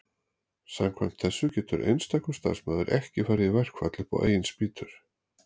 samkvæmt þessu getur einstakur starfsmaður ekki farið í verkfall upp á eigin spýtur